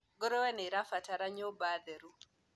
ngurwe nĩirabatara ciũmba theru